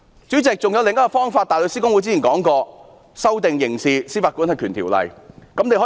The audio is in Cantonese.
主席，還有另一種方法，香港大律師公會之前指出，可以修訂《刑事司法管轄權條例》。